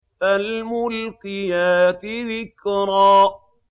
فَالْمُلْقِيَاتِ ذِكْرًا